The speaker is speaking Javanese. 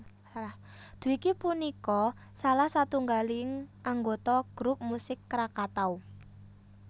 Dwiki punika salah satunggaling anggota grup musik Krakatau